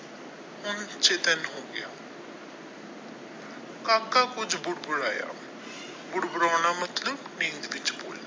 ਹੁਣ ਦਿਨ ਹੋ ਗਿਆ ਕਾਕਾ ਕੁਝ ਬੁੜ ਮਤਲਬ ਨੀਂਦ ਵਿੱਚ ਬੋਲਣਾ।